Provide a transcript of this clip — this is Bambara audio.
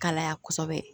Kalaya kɔsɛbɛ